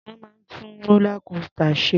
Wọ́n máa ń tú rólá kósità ṣe.